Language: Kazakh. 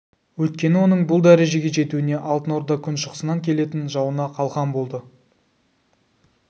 өйткені оның бұл дәрежеге жетуіне алтын орда күншығысынан келетін жауына қалқан болды